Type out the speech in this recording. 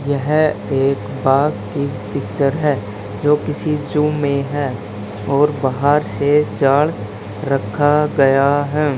यह एक बाग की पिक्चर है जो किसी जू में है और बाहर से जाड़ रखा गया है।